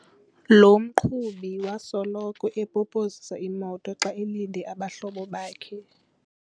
Lo mqhubi wasoloko epopozisa imoto xa elinde abahlobo bakhe.